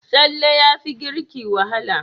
Tsalle yafi girki wahala.